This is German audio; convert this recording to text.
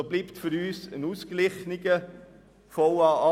So bleibt für uns ein ausgeglichener VA 2018.